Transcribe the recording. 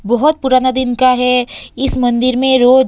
बोहोत पुराना दिन का है इस मंदिर में रोज --